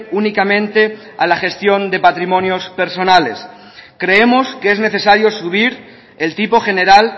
únicamente a la gestión de patrimonios personales creemos que es necesario subir el tipo general